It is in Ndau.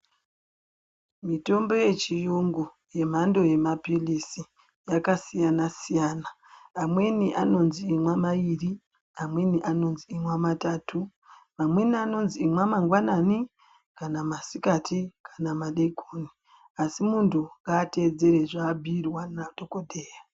Mitombo yechirungu yemhando yemapirizi yakasiyana-siyana amweni anonzi imwai mairi Amweni anonzi imwai matatu amweni anonzi imwai mangwanani amweni anonzi kana masikati kana madekoni asi muntu ngatevedze zvabhiirwa nadhokodheya.